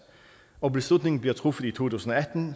og beslutningen bliver truffet i to tusind og atten